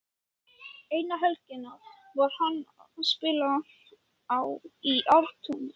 Eina helgina var hann að spila í Ártúni.